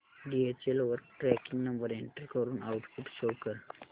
DHL वर tracking number enter करून output show कर